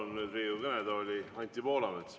Palun nüüd Riigikogu kõnetooli Anti Poolametsa.